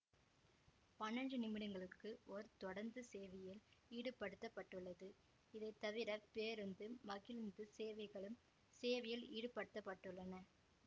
பன்னெண்டு நிமிடங்களுக்கு ஒரு தொடருந்து சேவையில் ஈடுப்படுத்தப்பட்டுள்ளது இதை தவிர பேருந்து மகிழூந்து சேவைகளும் சேவையில் ஈடுபடுத்தப்பட்டுள்ளன